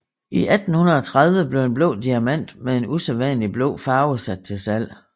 I 1830 blev en blå diamant med en usædvanlig blå farve sat til salg